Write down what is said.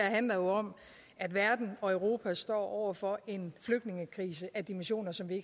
handler jo om at verden og europa står over for en flygtningekrise af dimensioner som vi